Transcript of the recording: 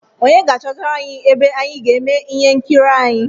Onye ga-achọtara anyi ebe anyị ga-eme ihe nkiri anyị?